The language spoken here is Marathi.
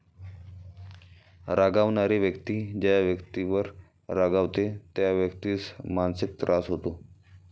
रागावणारी व्यक्ती ज्या व्यक्तीवर रागावते, त्या व्यक्तीस मानसिक त्रास होतो.